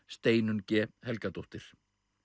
Steinunn g Helgadóttir